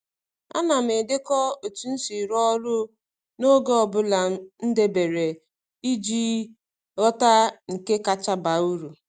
A na m edekọ otu m si rụọ ọrụ n’oge ọ bụla m debere iji ghọta nke kacha baa uru.